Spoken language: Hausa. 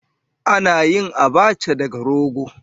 Ana yin Abacha daga rogo.